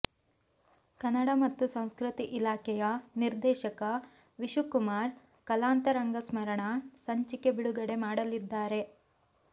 ಕನ್ನಡ ಮತ್ತು ಸಂಸ್ಕೃತಿ ಇಲಾಖೆಯ ನಿರ್ದೇಶಕ ವಿಶುಕುಮಾರ್ ಕಲಾಂತರಂಗ ಸ್ಮರಣ ಸಂಚಿಕೆ ಬಿಡುಗಡೆ ಮಾಡಲಿದ್ದಾರೆ